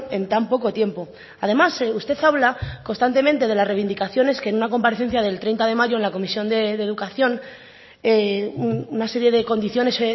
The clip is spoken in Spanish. en tan poco tiempo además usted habla constantemente de las reivindicaciones que en una comparecencia del treinta de mayo en la comisión de educación una serie de condiciones